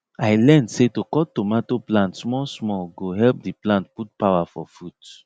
i learn say to cut tomato plant small small go help the plant put power for fruit